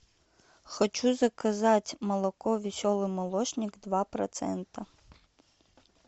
хочу заказать молоко веселый молочник два процента